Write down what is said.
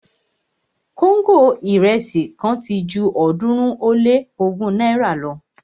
kóńgò irẹsi kan ti ju ọ̀ọ́dúnrún ó lé ogún náírà lọ